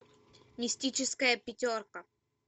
мистическая пятерка